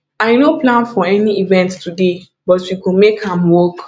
i no plan for any event today but we go make am work